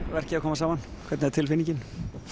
verkið að koma saman hvernig er tilfinningin